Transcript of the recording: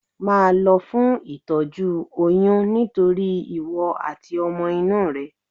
Máa lọ fún itoju oyún nítorí ìwọ àti ọmọ inú rẹ.